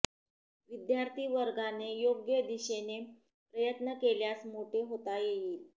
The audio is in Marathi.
विद्यार्थी वर्गाने योग्य दिशेने प्रयत्न केल्यास मोठे होता येईल